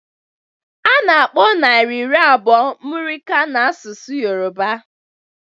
A na-akpọ naira iri abụọ muri kan n'asụsụ Yoruba